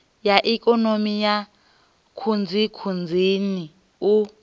ya ikonomi ya khunzikhunzini u